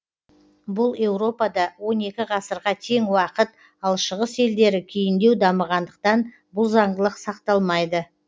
бұл еуропада он екі ғасырға тең уақыт ал шығыс елдері кейіндеу дамығандықтан бұл заңдылық сақталмайды